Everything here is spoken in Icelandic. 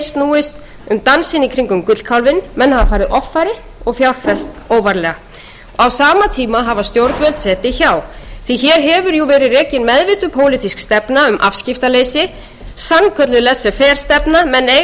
snúist um dansinn í kringum gullkálfinn menn hafa farið offari og fjárfest óvarlega á sama tíma hafa stjórnvöld setið hjá því hér hefur verið rekin meðvituð pólitísk stefna um afskiptaleysi sannkölluð latefer stefna menn eigi ekki